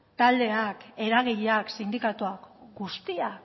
taldeak eragileak sindikatuak guztiak